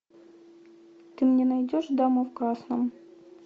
ты мне найдешь дама в красном